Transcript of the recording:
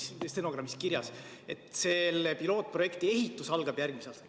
Siin on stenogrammis kirjas, et selle pilootprojekti ehitus algab järgmisel aastal.